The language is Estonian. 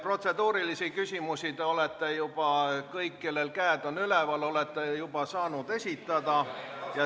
Protseduurilisi küsimusi te olete kõik, kellel käed on üleval, juba saanud esitada.